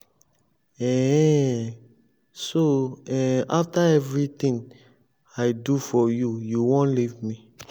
um so um after everything i um do for you you wan leave me